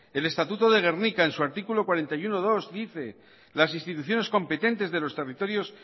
el estatuto de gernika en su artículo cuarenta y uno punto dos dice las instituciones competentes de los territorios